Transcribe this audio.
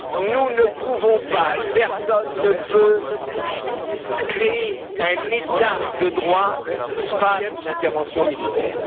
Nous ne pouvons pas et personne ne peut créer un état de droit par une intervention militaire